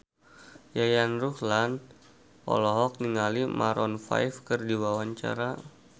Yayan Ruhlan olohok ningali Maroon 5 keur diwawancara